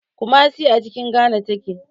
Kumasi a cikin Ghana take.